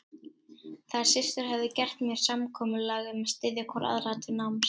Þær systur höfðu gert með sér samkomulag um að styðja hvor aðra til náms.